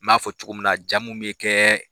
N'a fɔ cogo min na ja mnnu bɛ kɛ